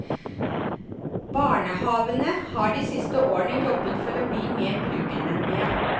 Barnehavene har de siste årene jobbet for å bli mer brukervennlige.